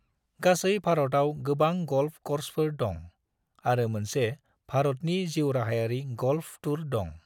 गासै भारतआव गोबां गल्फ कर्सफोर दं, आरो मोनसे भारतनि जिउराहायारि गल्फ टूर दं।